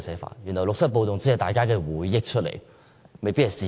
難道六七暴動只是大家的回憶而不是事實？